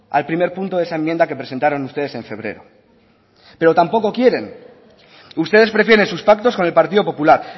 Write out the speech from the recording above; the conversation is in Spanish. al primer punto de esa enmienda que presentaron ustedes en febrero pero tampoco quieren ustedes prefieren sus pactos con el partido popular